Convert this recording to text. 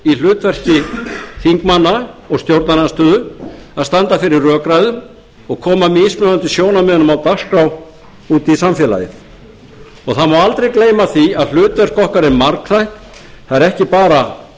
í hlutverki þingmanna og stjórnarandstöðu að standa fyrir rökræðum og koma mismunandi sjónarmiðum á dagskrá út í samfélagið það má aldrei gleyma því að hlutverk okkar er margþætt það er ekki bara